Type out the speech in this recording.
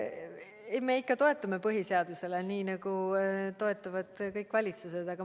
Ei, me ikka toetume põhiseadusele, nii nagu toetuvad kõik valitsused.